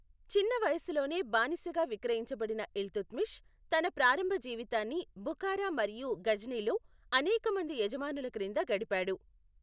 చిన్న వయస్సులోనే బానిసగా విక్రయించబడిన ఇల్తుత్మిష్ తన ప్రారంభ జీవితాన్ని బుఖారా మరియు ఘజ్నీలో అనేకమంది యజమానుల క్రింద గడిపాడు.